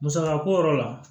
Musaka ko yɔrɔ la